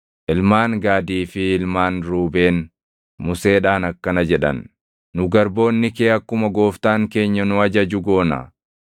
Ilmaan Gaadii fi ilmaan Ruubeen Museedhaan akkana jedhan; “Nu garboonni kee akkuma gooftaan keenya nu ajaju goona.